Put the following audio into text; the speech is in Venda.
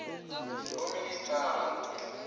vhoministara